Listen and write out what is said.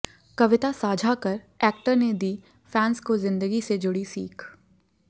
कविता साझा कर एक्टर ने दी फैंस को जिंदगी से जुड़ी सीख